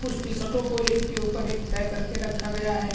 कुछ टीशर्टओ को एक पे एक तय कर के रखा गया है।